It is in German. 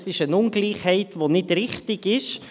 Das ist eine Ungleichheit, die nicht richtig ist.